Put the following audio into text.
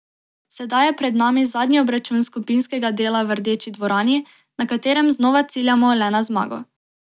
Sedaj je pred nami zadnji obračun skupinskega dela v Rdeči dvorani, na katerem znova ciljamo le na zmago.